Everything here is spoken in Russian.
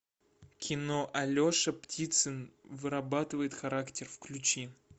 кино алеша птицын вырабатывает характер включи